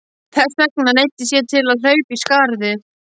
Þess vegna neyddist ég til að hlaupa í skarðið.